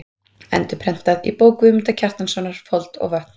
Endurprentað í bók Guðmundar Kjartanssonar: Fold og vötn.